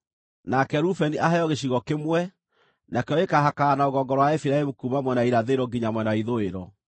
“Nake Rubeni aheo gĩcigo kĩmwe; nakĩo gĩkaahakana na rũgongo rwa Efiraimu kuuma mwena wa irathĩro nginya mwena wa ithũĩro.